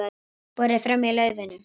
Borið fram í laufinu